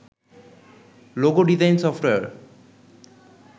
logo design software